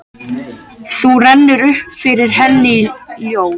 Þá rennur upp fyrir henni ljós.